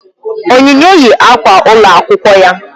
Onyinye yi akwa ụlọ akwụkwọ ya